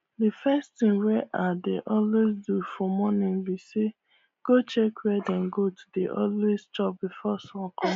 the first thing wey i dey always do for morning be sayi go check where dem goats dey always chop before sun com